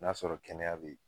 N'a sɔrɔ kɛnɛya be yen.